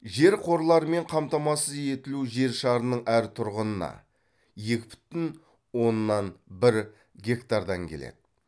жер қорларымен қамтамасыз етілу жер шарының әр тұрғынына екі бүтін оннан бір гектардан келеді